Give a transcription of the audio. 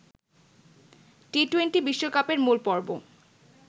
T twenty বিশ্বকাপের মূলপর্ব